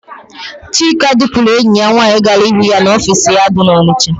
Chika dupuru enyi ya nwaanyị gara hụ ya n'ofiisi ha dị n'Ọnịsha.